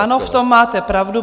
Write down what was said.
Ano, v tom máte pravdu.